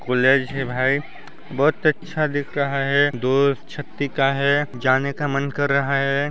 College है भाई बहोत अच्छा दिख रहा है दो है जाने का मन कर रहा है।